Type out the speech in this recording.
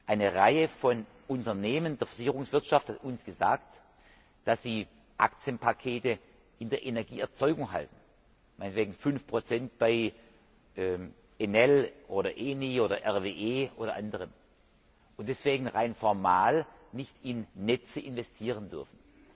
Eine Reihe von Unternehmen der Versicherungswirtschaft hat uns gesagt, dass sie Aktienpakete in der Energieerzeugung halten, meinetwegen 5 bei ENEL oder ENI oder RWE oder anderen, und deswegen rein formal nicht in Netze investieren dürfen.